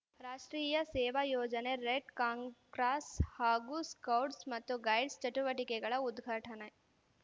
ರಾಷ್ಟ್ರೀಯ ಸೇವಾ ಯೋಜನೆ ರೆಡ್‌ ಕಾಂಗ್ ಕ್ರಾಸ್‌ ಹಾಗೂ ಸ್ಕೌಡ್ಸ್‌ ಮತ್ತು ಗೈಡ್ಸ್‌ ಚಟುವಟಿಕೆಗಳ ಉದ್ಘಾಟನೆ